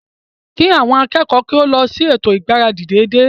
Kí àwọn akẹ́kọ̀ọ́ o lọ sí ètò ìgbáradì dédé